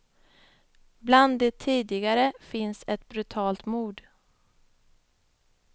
Bland de tidigare finns ett brutalt mord.